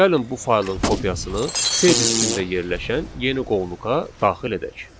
Gəlin bu faylın kopyasını C diskində yerləşən yeni qovluqa daxil edək.